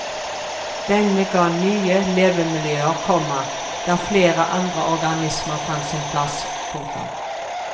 Denne ga nye levemiljøer, komma der flere andre organismer fant sin plass. punktum